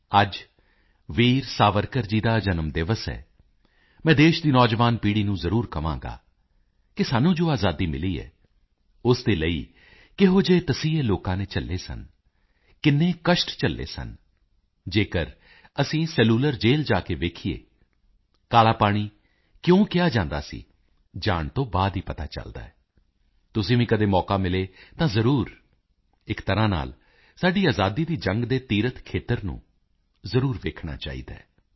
ਅੱਜ ਵੀਰ ਸਾਵਰਕਰ ਜੀ ਦਾ ਜਨਮ ਦਿਵਸ ਹੈ ਮੈਂ ਦੇਸ਼ ਦੀ ਨੌਜਵਾਨ ਪੀੜੀ ਨੂੰ ਜ਼ਰੂਰ ਕਹਾਂਗਾ ਕਿ ਸਾਨੂੰ ਜੋ ਆਜ਼ਾਦੀ ਮਿਲੀ ਹੈ ਉਸ ਦੇ ਲਈ ਕਿਹੋ ਜਿਹੇ ਤਸੀਹੇ ਲੋਕਾਂ ਨੇ ਝੱਲੇ ਸਨ ਕਿੰਨੇ ਕਸ਼ਟ ਝੱਲੇ ਸਨ ਜੇਕਰ ਅਸੀਂ ਸੈਲੂਲਰ ਜੇਲ ਜਾ ਕੇ ਵੇਖੀਏ ਕਾਲਾ ਪਾਣੀ ਕਿਉ ਕਿਹਾ ਜਾਂਦਾ ਸੀ ਜਾਣ ਤੋਂ ਬਾਅਦ ਹੀ ਪਤਾ ਚੱਲਦਾ ਹੈ ਤੁਸੀਂ ਵੀ ਕਦੇ ਮੌਕਾ ਮਿਲੇ ਤਾਂ ਜ਼ਰੂਰ ਇੱਕ ਤਰਾਂ ਨਾਲ ਸਾਡੀ ਆਜ਼ਾਦੀ ਦੀ ਜੰਗ ਦੇ ਤੀਰਥ ਖੇਤਰ ਨੇ ਜ਼ਰੂਰ ਜਾਣਾ ਚਾਹੀਦਾ ਹੈ